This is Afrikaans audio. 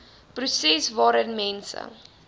proses waarin mense